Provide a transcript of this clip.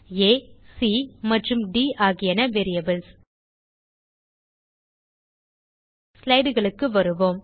ஆ சி மற்றும் ட் ஆகியவை வேரியபிள்ஸ் slideகளுக்கு வருவோம்